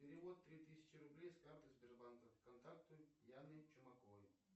перевод три тысячи рублей с карты сбербанка в контакты яны чумаковой